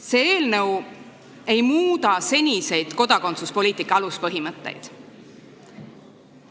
See eelnõu ei muuda seniseid kodakondsuspoliitika aluspõhimõtteid.